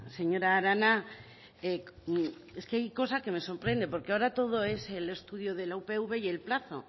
señora arana es que hay cosa que me sorprende porque ahora todo es el estudio de la upv y el plazo